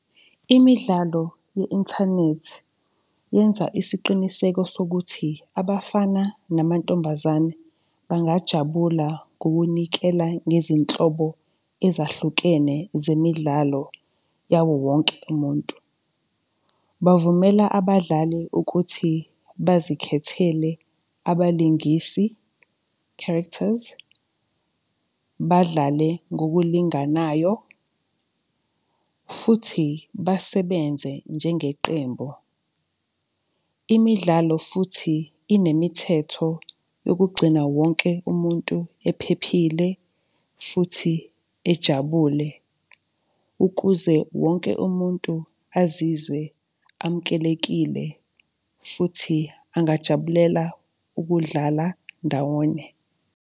Imidlalo ye-inthanethi, yenza isiqiniseko sokuthi abafana namantombazane bangajabula ngokunikela ngezinhlobo ezahlukene zemidlalo yawo wonke umuntu. Bavumela abadlali ukuthi bazikhethele abalingisi, characters, badlale ngokulinganayo, futhi basebenze njengeqembu. Imidlalo futhi inemithetho yokugcina wonke umuntu ephephile futhi ejabule ukuze wonke umuntu azizwe amukelekile futhi angajabulela ukudlala ndawonye.